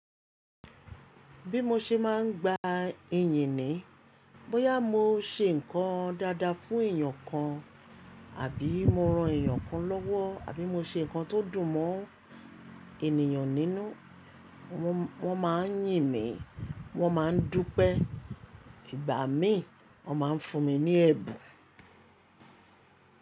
Bí mo ṣe máa ń gba ìyìn ní, bóyá mo ṣe nǹkan dáadáa fún èèyàn kan, àbí mo ran èèyàn kan lówó, àbí mo ṣe nǹkan tó dùn mọ́ ènìyàn nínú, wọ́n máa ń yìn mí, wọ́n máa ń dúpẹ́. Ìgbà mí, wọ́n máa ń fún mi ní ẹ̀bùn.